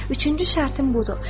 Üçüncü şərtim budur: